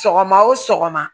Sɔgɔma o sɔgɔma